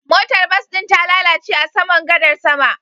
Motar bas ɗin ta lalace a saman gadar sama